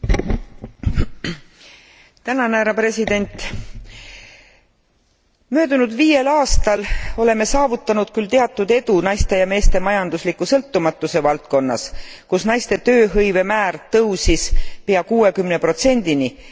Möödunud viiel aastal oleme saavutanud küll teatud edu naiste ja meeste majandusliku sõltumatuse valdkonnas, kus naiste tööhõivemäär tõusis pea kuuekümne protsendini, kuid samas ei ole toimunud mingitki muutust paremusele naiste ja meeste palgalõhe